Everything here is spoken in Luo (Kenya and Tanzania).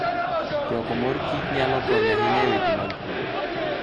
Choko mor kich nyalo konyo ahinya e weche mag pur.